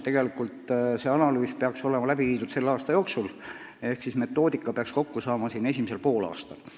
Tegelikult peaks see analüüs olema läbi viidud selle aasta jooksul, nii et metoodika peaks valmis saama esimesel poolaastal.